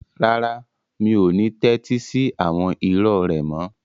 Rárá, mi ò ní tẹ́tí sí àwọn irọ́ rẹ mọ́.